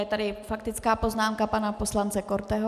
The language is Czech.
Je tady faktická poznámka pana poslance Korteho.